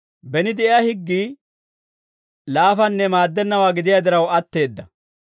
Beni de'iyaa higgii laafanne maaddennawaa gidiyaa diraw atteedda.